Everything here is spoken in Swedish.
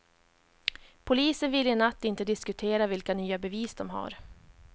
Polisen ville i natt inte diskutera vilka nya bevis de har.